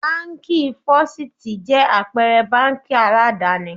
Báńkì Fọ́sítì jẹ́ àpẹrẹ báńkì aládàni.